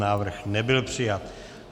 Návrh nebyl přijat.